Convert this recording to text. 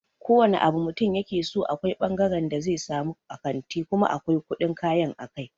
Ko wane abu mutum yakeso akwai fangaren da zai samu a kanti kuma akwai kuɗin kayan a kai.